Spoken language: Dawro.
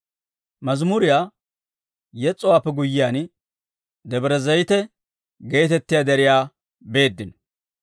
Mazimuriyaa yes's'owaappe guyyiyaan, Debre Zayite geetettiyaa deriyaa beeddino.